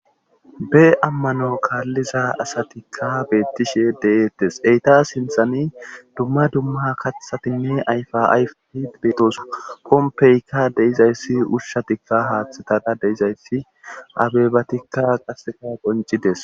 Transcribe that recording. be ammano kaalliza asatikka beettishe deettes eyta sinthani dumma dumma katthatinne ayfa ayfid beetosa kompeykka deizayssi ushshatikka haaththetada deizayssi abebatikka qaseka boncides